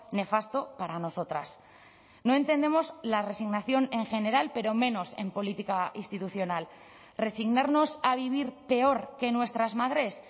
nefasto para nosotras no entendemos la resignación en general pero menos en política institucional resignarnos a vivir peor que nuestras madres